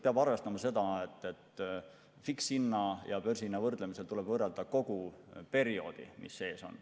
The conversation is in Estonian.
Peab arvestama seda, et fikshinna ja börsihinna võrdlemisel tuleb võrrelda kogu perioodi.